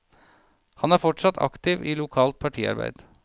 Han er fortsatt aktiv i lokalt partiarbeid.